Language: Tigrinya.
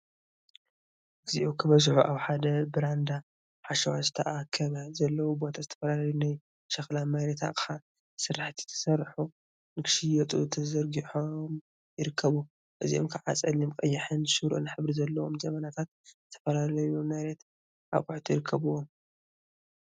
እግዚኦ ክበዝሑ! አብ ሓደ ብራንዳ ሓሸዋ ዝተአከበ ዘለዎ ቦታ ዝተፈላለዩ ናይ ሸክላ/መሬት አቅሓ/ ስራሕቲ ዝተሰርሑ ንክሽየጡ ተዘርጊሖም ይርከቡ፡፡ እዚኦም ከዓ ፀሊም፣ ቀይሕን ሽሮን ሕብሪ ዘለዎም ጀበናታትን ዝተፈላለዩ መሬት አቁሑት ይርከቡዎም፡፡